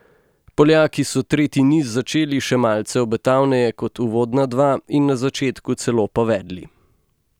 Poljaki so tretji niz začeli še malce obetavneje kot uvodna dva in na začetku celo povedli.